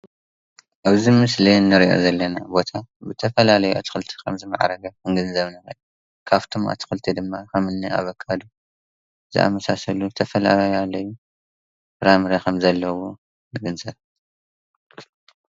ኣብዚ ምስሊ እንሪኦ ዘለና ቦታ ብዝተፈላለየ ኣትክልቲ ከምዝማዕረገ ምግንዛብ ንኽእል፡፡ ካብቶም ኣትክልቲ ድማ እኒ ኣቫካዶ ዝኣምሳሰሉ ዝተፈላለዩ ፍራምረ ከምዘለዉዎ ንግንዘብ፡፡